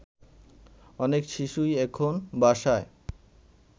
অনেক শিশুই এখন বাসায়